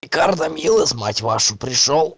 рикардо милос мать вашу пришёл